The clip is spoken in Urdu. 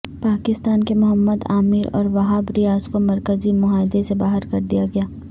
پاکستان کے محمد عامر اور وہاب ریاض کو مرکزی معاہدہ سے باہر کردیا گیا